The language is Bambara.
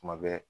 Kuma bɛɛ